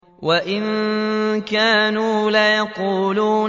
وَإِن كَانُوا لَيَقُولُونَ